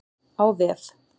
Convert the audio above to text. Á vef